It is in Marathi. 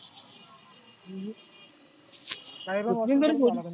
नाय राव परत ध्वाला लागल.